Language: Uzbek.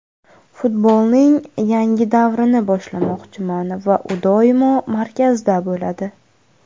Futbolning yangi davrini boshlamoqchiman va u doimo markazda bo‘ladi.